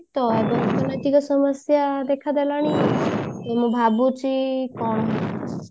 ତ ଅର୍ଥନୈତିକ ସମସ୍ଯା ଦେଖା ଦେଲାଣି ମୁଁ ଭାବୁଛି କଣ ହବ